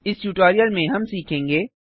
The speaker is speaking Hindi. इस ट्यूटोरियल में हम सीखेंगे